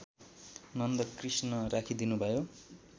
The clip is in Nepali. नन्दकृष्ण राखिदिनुभयो